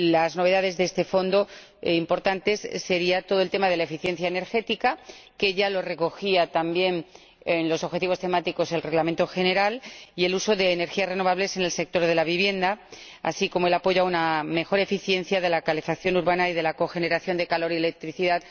Las novedades importantes de este Fondo serían todo lo relativo a la eficiencia energética —que ya se recogía también en los objetivos temáticos del Reglamento General— y al uso de energías renovables en el sector de la vivienda, así como el apoyo a una mejor eficiencia de la calefacción urbana y de la cogeneración de calor y electricidad.